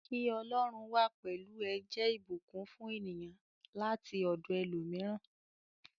Ki Ọlọ́run wà pẹlú ẹ jẹ ìbùkún fún ènìyàn láti ọdọ ẹlòmíràn.